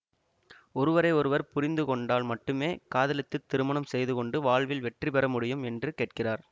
ஒருவரை ஒருவர் புரிந்து கொண்டால் மட்டுமே காதலித்து திருமணம் செய்துகொண்டு வாழ்வில் வெற்றி பெற முடியும் என்று கேட்கிறார்